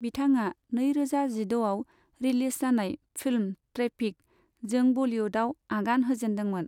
बिथाङा नैरोजा जिद'आव रिलिज जानाय फिल्म 'ट्रेफिक ' जों बलिउदाव आगान होजेनदोंमोन।